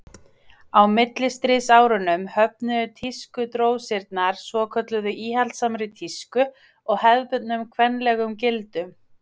Á millistríðsárunum höfnuðu tískudrósirnar svokölluðu íhaldssamri tísku og hefðbundnum kvenlegum gildum.